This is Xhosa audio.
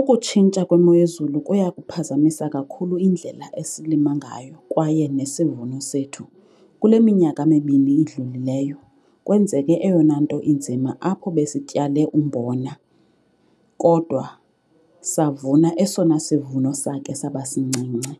Ukutshintsha kwemo yezulu kuyakuphazamisa kakhulu indlela esilima ngayo kwaye nesivuno sethu. Kule minyaka mibini idlulileyo kwenzeke eyona nto inzima apho besityale umbona kodwa savuna esona sivuno sakhe sabasincinci.